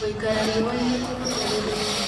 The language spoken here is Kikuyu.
Gũĩkara rĩũaĩnĩ kũrũngagĩrĩrĩa